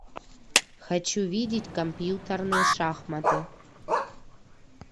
хочу видеть компьютерные шахматы